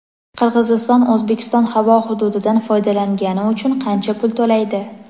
Qirg‘iziston O‘zbekiston havo hududidan foydalangani uchun qancha pul to‘laydi?.